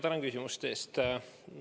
Tänan küsimuste eest!